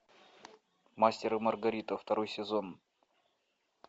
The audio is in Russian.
мастер и маргарита второй сезон